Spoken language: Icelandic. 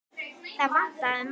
Það vantaði margt.